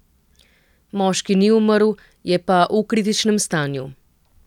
Moški ni umrl, je pa v kritičnem stanju.